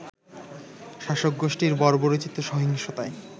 শাসকগোষ্ঠীর বর্বরোচিত সহিংসতায়